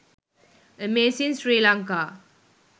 amazing sri lanka